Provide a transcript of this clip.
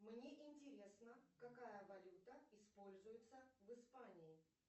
мне интересно какая валюта используется в испании